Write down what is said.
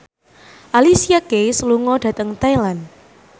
Alicia Keys lunga dhateng Thailand